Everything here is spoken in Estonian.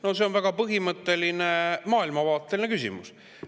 No see on väga põhimõtteline maailmavaateline küsimus.